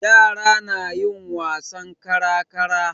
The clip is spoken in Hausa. Yara na yin wasan kara-kara.